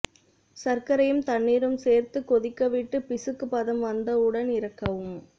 சர்க்கரையும் தண்ணீரும் சேர்த்துக் கொதிக்கவிட்டு பிசுக்கு பதம் வந்தவுடன் இறக்கவும்